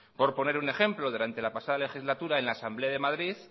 por poner un ejemplo durante la pasada legislatura en la asamblea de madrid